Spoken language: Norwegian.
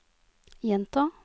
gjenta